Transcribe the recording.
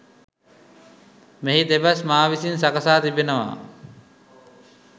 මෙහි දෙබස් මා විසින් සකසා තිබෙනවා.